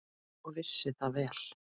Og vissi það vel.